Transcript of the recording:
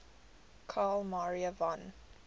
carl maria von